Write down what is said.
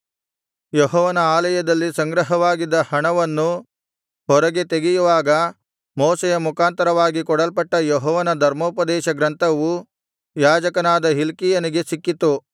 ಯೆಹೋವನ ಆಲಯದಲ್ಲಿ ಸಂಗ್ರಹವಾಗಿದ್ದ ಹಣವನ್ನು ಹೊರಗೆ ತೆಗೆಯುವಾಗ ಮೋಶೆಯ ಮುಖಾಂತರವಾಗಿ ಕೊಡಲ್ಪಟ್ಟ ಯೆಹೋವನ ಧರ್ಮೋಪದೇಶ ಗ್ರಂಥವು ಯಾಜಕನಾದ ಹಿಲ್ಕೀಯನಿಗೆ ಸಿಕ್ಕಿತು